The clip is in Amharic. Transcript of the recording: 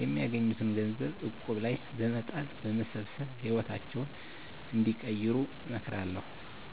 የሚያገኙትን ገንዘብ እቁብ ላይ በመጣል በመሰብሰብ ህይወታቸውን እንዲቀይሩ እመክራለሁ።